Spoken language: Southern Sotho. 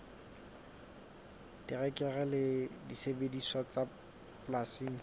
terekere le disebediswa tsa polasing